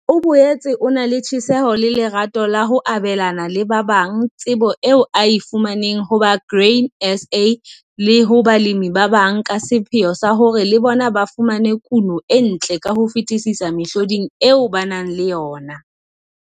O boetse o na le tjheseho le lerato la ho abelana le ba bang tsebo eo a e fumaneng ho ba Grain SA le ho balemi ba bang ka sepheo sa hore le bona ba fumane kuno e ntle ka ho fetisisa mehloding eo ba nang le yona.